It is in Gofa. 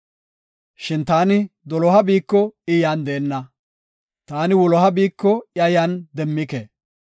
Shin taani doloha biiko I yan deenna; taani wuloha biiko iya yan demmike.